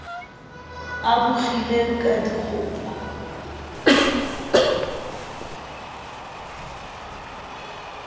a bo kgile ka dikgopo